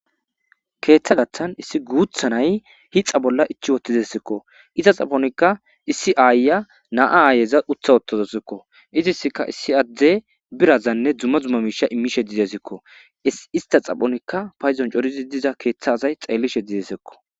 Keeththa gaththan issi guutha nay hixa bolla ichi wotizesikko. Iza xaponikka issi aayya naa aayeza utha wottozosikko.iziska issi adde birazanne dzuma zuma miisha immishe dizesekko ista xaphonikka payzon corizi diza keeththa asay xeellishe dizesekko.